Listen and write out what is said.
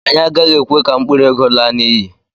anyị agaghị ekwe ka mkpụrụ ego laa n'iyi.